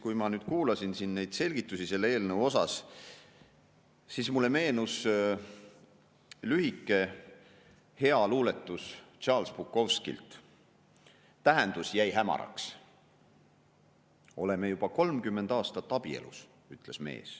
Kui ma kuulasin siin neid selgitusi selle eelnõu kohta, siis mulle meenus lühike hea luuletus Charles Bukowskilt "tähendus jäi hämaraks": "me oleme juba kolmkümmend aastat abielus, / ütles mees.